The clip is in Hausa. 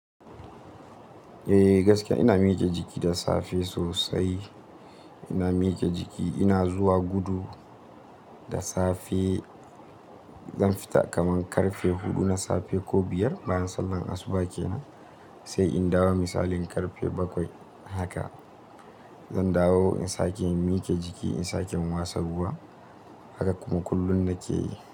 Eh gaskiya ina miƙe jiki da safe sosai. Ina miƙe jiki, ina zuwa gudu da safe. Zan fita kaman ƙarfe huɗu na safe ko biyar bayan sallan asuba kenan, sai in dawo misalin ƙarfe bakwai haka. Zan dawo in sake miƙe jiki, in sake in watsa ruwa, haka kuma kullum nake yi.